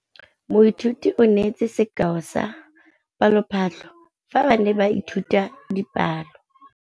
Moithuti o neetse sekaô sa palophatlo fa ba ne ba ithuta dipalo.